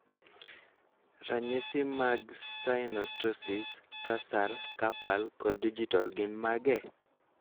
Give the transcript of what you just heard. Ranyisi mag synostosis, tarsal, carpal, kod digital gin mage?